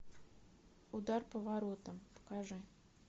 удар по воротам покажи